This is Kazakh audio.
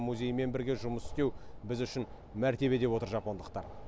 музеймен бірге жұмыс істеу біз үшін мәртебе деп отыр жапондықтар